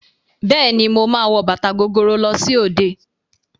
Bẹ́ẹ̀ ni, màá wọ bàtà gogoro lọ sí òde.